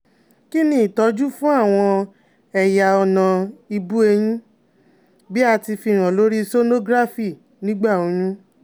Kini itọju fun àwọn ẹ̀yà ọ̀nà ibu-eyin, bi a ti fihan lori sonography nigba oyun?